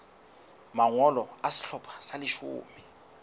mangolo a sehlopha sa leshome